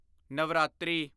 Navratri